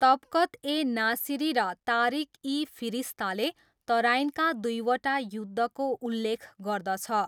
तबकत ए नासिरी र तारिख इ फिरिस्ताले तराइनका दुईवटा युद्धको उल्लेख गर्दछ।